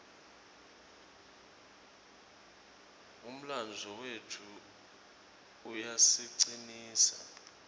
umlandvo wetfu uyasicinisa